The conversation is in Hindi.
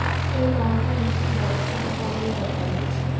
फिल्म नॉर्थ और ईस्ट में बहुत अच्छा परफॉर्म नहीं कर पाई